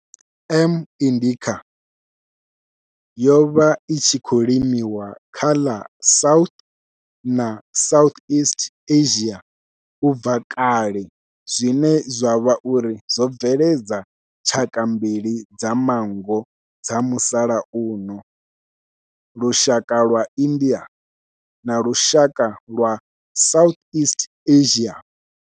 M. indica yo vha i tshi khou limiwa kha ḽa South na Southeast Asia ubva kale zwine zwa vha uri zwo bveledza tshaka mbili dza manngo dza musalauno, lushaka lwa India na lushaka lwa Southeast Asia.